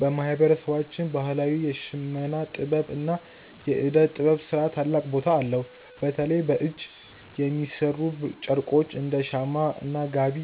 በማህበረሰባችን ባህላዊ የሽመና ጥበብ እና የእደ ጥበብ ስራ ታላቅ ቦታ አለው። በተለይ በእጅ የሚሠሩ ጨርቆች እንደ “ሸማ” እና “ጋቢ”